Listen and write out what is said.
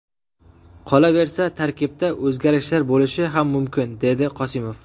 Qolaversa, tarkibda o‘zgarishlar bo‘lishi ham mumkin”, dedi Qosimov.